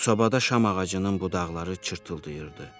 Sobada şam ağacının budaqları çırpılırdı.